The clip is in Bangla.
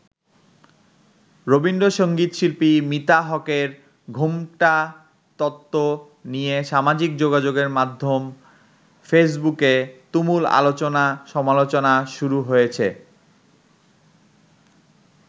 রবীন্দ্র সঙ্গীত শিল্পী মিতা হকের 'ঘোমটা তত্ত্ব' নিয়ে সামাজিক যোগাযোগের মাধ্যম ফেসবুকে তুমুল আলোচনা-সমালোচনা শুরু হয়েছে।